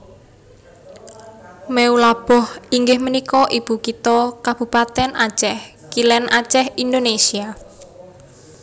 Meulaboh inggih punika ibukitha Kabupatèn Acèh Kilèn Acèh Indonésia